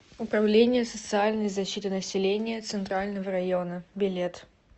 управление социальной защиты населения центрального района билет